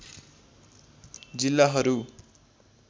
जिल्लाहरू